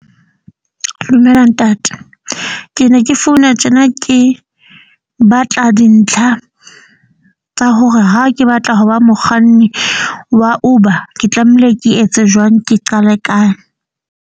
Dumela ntate. Ke ne ke founa tjena ke batla dintlha tsa hore ha ke batla ho ba mokganni wa Uber, ke tlamehile ke etse jwang, ke qale kae.